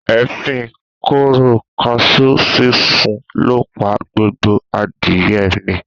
Èéfín kóró kaṣú sísun ló pa gbogbo adìye mi